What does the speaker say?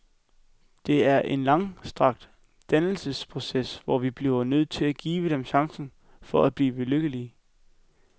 Det er en langstrakt dannelsesproces, hvor vi bliver nødt til at give dem chancen for at blive lykkeligere.